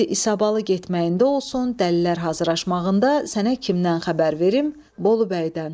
İndi İsabalı getməyində olsun, dəlilər hazırlaşmağında, sənə kimdən xəbər verim, Bolu bəydən.